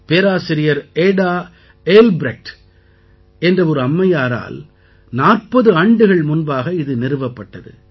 பேராசிரியர் Ada Albrecht என்ற ஒரு அம்மையாரால் 40 ஆண்டுகள் முன்பாக இது நிறுவப்பட்டது